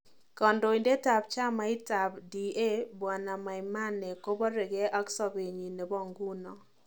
Kandoindet ab chamit ab DABw Maimene kobarege ak sopenyi nebo nguno